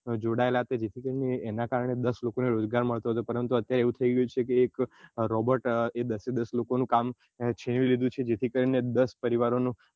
જોડાયેલા એના કારણે દસ લોકો ને રોજગાર મળતો હતો પરંતુ અત્યારે એવું થઇ ગયું છે એક robot એ દસે દસ લોકો નું કામ છીનવી લીધેલું છે જેથી કરીને દસ પરિવાર નો